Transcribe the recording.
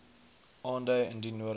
aandui indien nodig